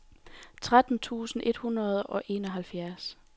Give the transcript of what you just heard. tretten tusind et hundrede og enoghalvfjerds